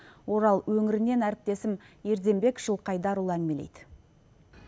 орал өңірінен әріптесім ерденбек жылқайдарұлы әңгімелейді